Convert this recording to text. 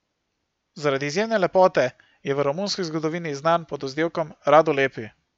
Zaradi izjemne lepote je v romunski zgodovini znan pod vzdevkom Radu Lepi.